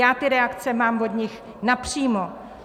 Já ty reakce mám od nich napřímo.